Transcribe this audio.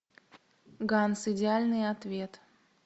ганс идеальный ответ